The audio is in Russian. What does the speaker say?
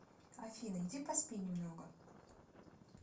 афина иди поспи немного